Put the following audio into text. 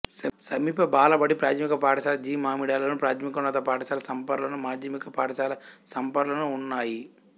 సమీప బాలబడి ప్రాథమిక పాఠశాల జి మామిడాడలోను ప్రాథమికోన్నత పాఠశాల సంపరలోను మాధ్యమిక పాఠశాల సంపరలోనూ ఉన్నాయి